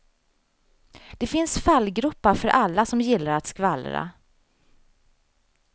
Det finns fallgropar för alla som gillar att skvallra.